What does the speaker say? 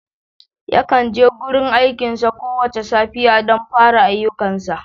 Yakan je gurin aikinsa kowace safiya don fara ayyukansa.